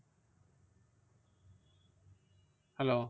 Hello